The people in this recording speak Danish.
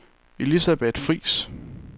Elisabeth Friis